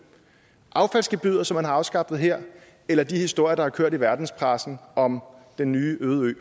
affaldsgebyret som man har afskaffet her eller de historier der har kørt i verdenspressen om den nye øde